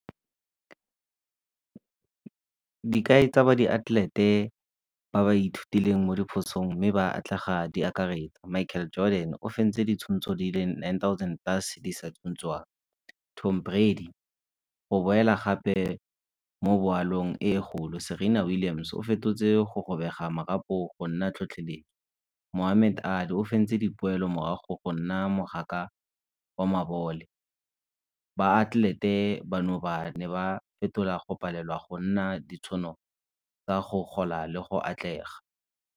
Dikai tsa ba diatlelete ba ba ithutileng mo diphosong mme ba atlega di akaretsa Michael Jordan o fentse di le nine thousand , Tom Brady go boela gape mo boalong e kgolo. Serena Williams o fetotse go robega marapo go nna . Mohamed o fentse dipoelo morago go nna mogaka wa mabole. Baatlelete bano ba ne ba fetola go palelwa go nna ka go gola le go atlega.